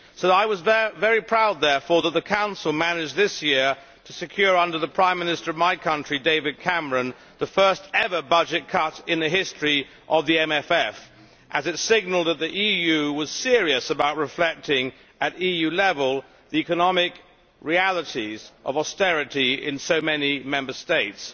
I was very proud, therefore, that the Council managed this year to secure, under the prime minister of my country, David Cameron, the first ever budget cut in the history of the MFF, as it signalled that the EU was serious about reflecting at EU level the economic realities of austerity in so many Member States.